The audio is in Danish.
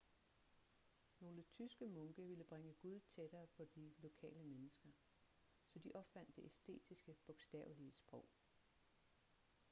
nogle tyske munke ville bringe gud tættere på de lokale mennesker så de opfandt det estiske bogstavelige sprog